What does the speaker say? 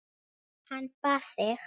Hann bað þig.